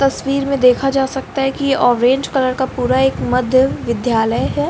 तस्वीर में देखा जा सकता है की ऑरेंज कलर का पुरा एक मध्य विधालय है।